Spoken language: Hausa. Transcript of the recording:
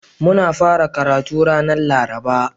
Mun fara karatu ranar Laraba.